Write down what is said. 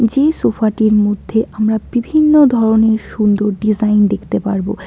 যে সোফা -টির মধ্যে আমরা বিভিন্ন ধরনের সুন্দর ডিজাইন দেখতে পারব।